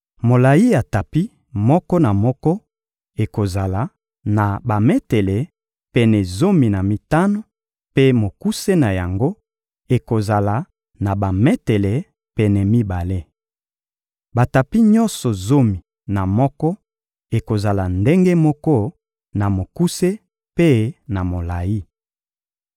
Molayi ya tapi moko na moko ekozala na bametele pene zomi na mitano, mpe mokuse na yango ekozala na bametele pene mibale. Batapi nyonso zomi na moko ekozala ndenge moko na mokuse mpe na molayi.